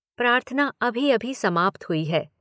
प्रार्थना अभी अभी समाप्त हुई है।